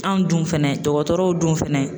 Anw dun fɛnɛ dɔgɔtɔrɔw dun fɛnɛ